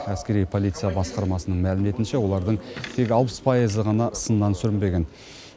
әскери полиция басқармасының мәліметінше олардың тек алпыс пайызы ғана сыннан сүрінбеген